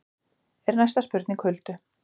er næsta spurning Huldu.